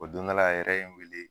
O don dɔ la a yɛrɛ ye n weele